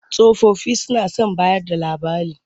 Tsofaffi suna son bayarda labari.